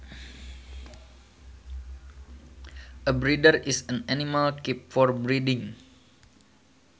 A breeder is an animal kept for breeding